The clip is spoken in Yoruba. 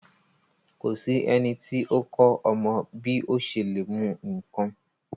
Ko sí ẹniti o kọ ọmọ bi o ṣe le mu nkán.